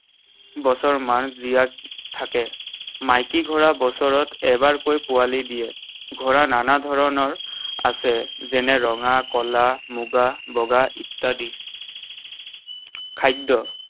বছৰমান জীয়াই থাকে। মাইকী ঘোঁৰা বছৰত এবাৰকৈ পোৱালী দিয়ে। ঘোঁৰা নানা ধৰণৰ আছে। যেনে ৰঙা, কলা, মুগা, বগা ইত্যাদি। খাদ্য।